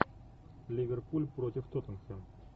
ливерпуль против тоттенхэм